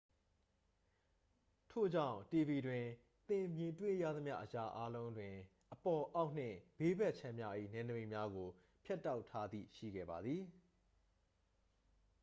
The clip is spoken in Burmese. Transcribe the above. ထို့ကြောင့် tv တွင် သင်တွေ့မြင်ရသမျှ အရာအားလုံးတွင် အပေါ် အောက်နှင့် ဘေးဘက်ခြမ်းများ၏ နယ်နိမိတ်များကို ဖြတ်တောက်ထားသည့် ရှိခဲ့ပါသည်